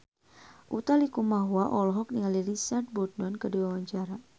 Utha Likumahua olohok ningali Richard Burton keur diwawancara